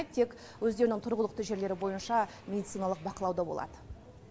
тек өздерінің тұрғылықты жерлері бойынша медициналық бақылауда болады